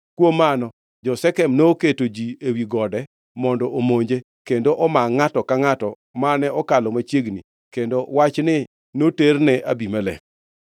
Kuom mano, jo-Shekem noketo ji ewi gode mondo omonje kendo omaa ngʼato angʼata mane okalo machiegni, kendo wachni noterne Abimelek.